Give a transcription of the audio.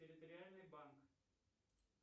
территориальный банк